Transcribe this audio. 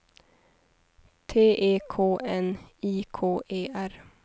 T E K N I K E R